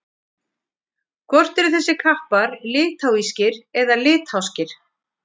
hvort eru þessir kappar litháískir eða litháskir